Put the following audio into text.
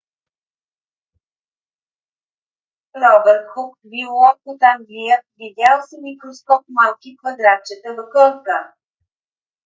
робърт хук биолог от англия видял с микроскоп малки квадратчета в корка